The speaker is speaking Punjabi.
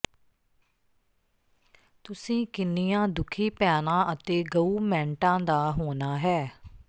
ਤੁਸੀਂ ਕਿੰਨੀਆਂ ਦੁਖੀ ਭੈਣਾਂ ਅਤੇ ਗਊਮੈਂਟਾਂ ਦਾ ਹੋਣਾ ਹੈ